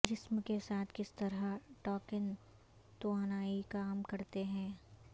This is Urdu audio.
جسم کے ساتھ کس طرح ٹاکن توانائی کام کرتا ہے